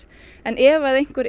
en ef að einhver